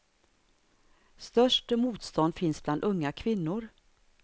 Störst motstånd finns bland unga kvinnor.